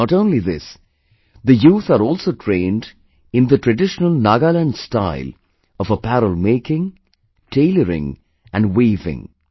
Not only this, the youth are also trained in the traditional Nagaland style of apparel making, tailoring and weaving